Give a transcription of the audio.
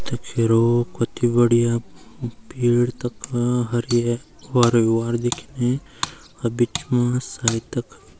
तख हेरो कथी बढ़िया भीड़ तख हरी ये वार ही वार दिखेणी अर बिचमा सायद तख --